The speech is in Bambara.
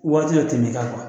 Waati yɛrɛ ten me ka kuwa